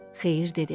Xeyir dedi: